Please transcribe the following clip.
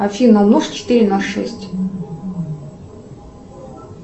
афина умножь четыре на шесть